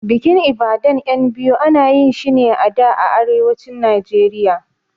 Bikin Ibadan ƴan biyu ana yinshi ne a da a Arewacin Nijeriya